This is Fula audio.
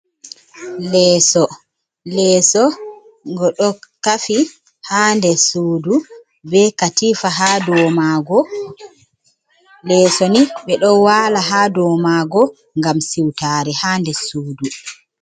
Leeso: Leeso ngo ɗo kafi ha nder sudu be katifa haa dow maago. Leeso ni ɓeɗo wala ha dow maago ngam siutare haa nder sudu.